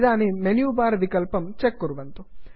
इदानीं menu bar विकल्पं check कुर्वन्तु